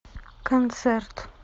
концерт